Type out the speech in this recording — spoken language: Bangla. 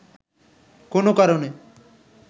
কোনো কারণে